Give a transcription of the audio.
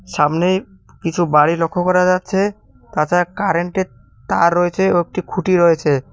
সামনে কিছু বাড়ি লক্ষ্য করা যাচ্ছে তাছাড়া কারেন্টের তার রয়েছে ও একটি খুঁটি রয়েছে।